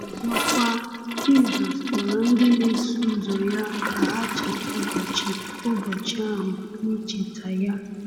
Ọzọkwa, Jizọs kpọrọ ndị na-eso ya ka ha cheta ụbọchị ụbọchị ahụ n’icheta ya.